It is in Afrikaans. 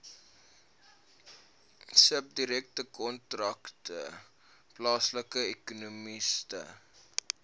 subdirektoraat plaaslike ekonomiese